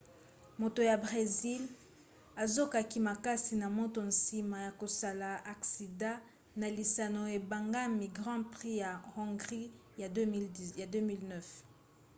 moto ya bresil azokaki makasi na motu nsima ya kosala aksida na lisano ebengami grand prix ya hongrie ya 2009